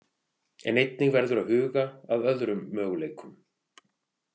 En einnig verður að huga að öðrum möguleikum.